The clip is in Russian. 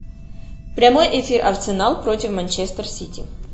прямой эфир арсенал против манчестер сити